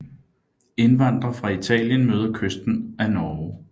Indvandre fra Italien møder kysten af Norge